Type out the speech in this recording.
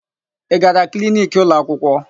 Ị gara kliniki ụlọakwụkwọ?